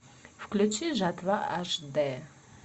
включи жатва аш д